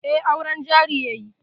Eh, auren jari yayi